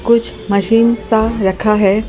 कुछ मशीन सा रखा है।